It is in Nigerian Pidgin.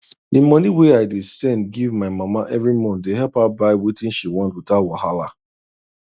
the money wey i dey send give my mama every month dey help her buy wetin she want without wahala